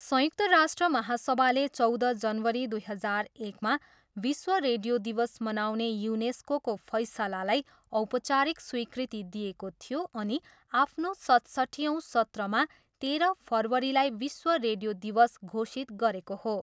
संयुक्त राष्ट्र महासभाले चौध जनवरी दुई हजार एकमा विश्व रेडियो दिवस मनाउने युनेस्कोको फैसलालाई औपचारिक स्वीकृति दिएको थियो अनि आफ्नो सतसट्ठियौँ सत्रमा तेह्र फरवरीलाई विश्व रेडियो दिवस घोषित गरेको हो।